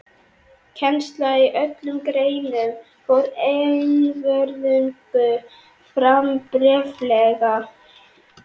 Kennsla í öllum greinum fór einvörðungu fram bréflega.